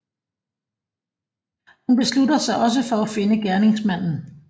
Hun beslutter sig også for at finde gerningsmanden